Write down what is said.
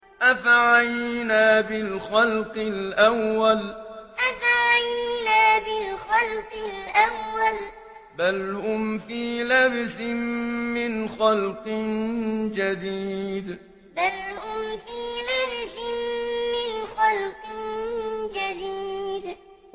أَفَعَيِينَا بِالْخَلْقِ الْأَوَّلِ ۚ بَلْ هُمْ فِي لَبْسٍ مِّنْ خَلْقٍ جَدِيدٍ أَفَعَيِينَا بِالْخَلْقِ الْأَوَّلِ ۚ بَلْ هُمْ فِي لَبْسٍ مِّنْ خَلْقٍ جَدِيدٍ